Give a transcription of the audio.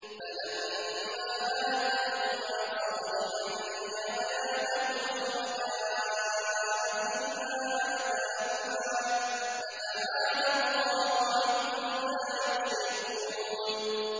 فَلَمَّا آتَاهُمَا صَالِحًا جَعَلَا لَهُ شُرَكَاءَ فِيمَا آتَاهُمَا ۚ فَتَعَالَى اللَّهُ عَمَّا يُشْرِكُونَ